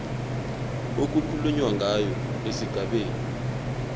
okukhulunywa ngayo esigabeni